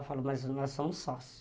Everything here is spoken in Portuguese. Eu falo, mas nós somos sócios.